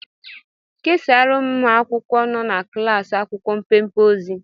Kesaara ụmụ akwụkwọ nọ na klaasị akwụkwọ mpempe ozi